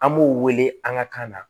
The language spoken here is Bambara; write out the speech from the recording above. An b'o wele an ka kan na